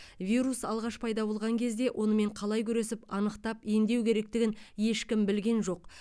вирус алғаш пайда болған кезде онымен қалай күресіп анықтап емдеу керектігін ешкім білген жоқ